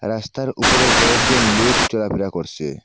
রাস্তার উপরে কয়েকজন লোক চলাফেরা করসে।